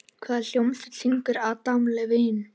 Í hvaða hljómsveit syngur Adam Levine?